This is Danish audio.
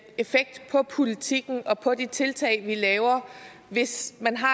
effekt på politikken og på de tiltag vi laver hvis man har